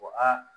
Ko aa